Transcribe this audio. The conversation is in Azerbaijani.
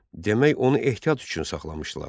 Demək onu ehtiyat üçün saxlamışdılar.